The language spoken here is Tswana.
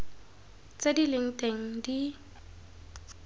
tse di leng teng di